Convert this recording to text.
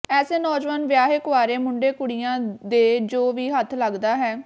ਐਸੇ ਨੌਜਵਾਨ ਵਿਆਹੇ ਕੁਆਰੇ ਮੁੰਡੇ ਕੁੜੀਆਂ ਦੇ ਜੋ ਵੀ ਹੱਥ ਲੱਗਦਾ ਹੈ